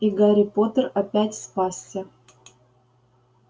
и гарри поттер опять спасся